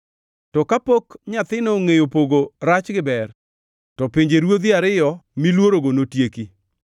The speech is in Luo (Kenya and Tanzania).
To kapok nyathino ongʼeyo pogo rach gi ber, to pinjeruodhi ariyo miluorogo notieki.